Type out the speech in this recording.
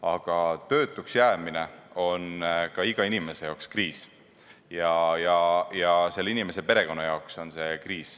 Aga töötuks jäämine on ka iga inimese jaoks kriis ja selle inimese perekonna jaoks on see kriis.